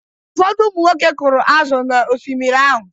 Ụfọdụ ụmụnwoke kụrụ azụ̀ n’Oshimiri ahụ.